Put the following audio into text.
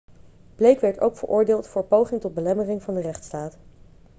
blake werd ook veroordeeld voor poging tot belemmering van de rechtstaat